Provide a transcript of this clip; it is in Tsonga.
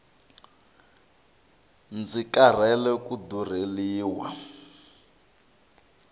ndzi karhele ku durheliwa